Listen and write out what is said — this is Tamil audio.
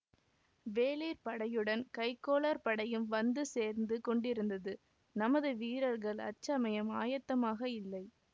வேளிர் படையுடன் கைக்கோளர் படையும் வந்து சேர்ந்து கொண்டிருந்தது நமது வீரர்கள் அச்சமயம் ஆயத்தமாக இல்லை